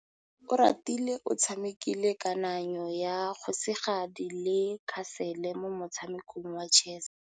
Oratile o tshamekile kananyô ya kgosigadi le khasêlê mo motshamekong wa chess.